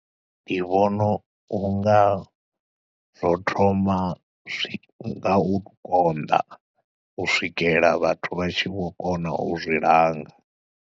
Ndi vhona unga zwo thoma ngau konḓa u swikela vhathu vha tshi vho kona u zwi langa.